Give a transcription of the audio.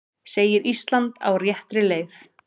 Segir Ísland á réttri leið